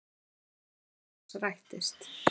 Ósk hans rættist.